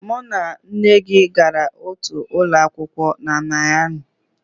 Mụ na nne gị gara otu ụlọ akwụkwọ na Miami